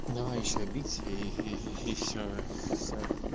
давай ещё бить иии всё всё